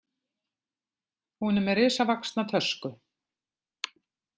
Hún er með risavaxna tösku.